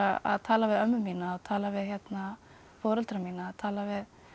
að tala við ömmu mína og tala við foreldra mína og tala við